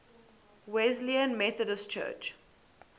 wesleyan methodist church